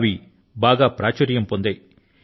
అవి బాగా ప్రాచుర్యం పొందాయి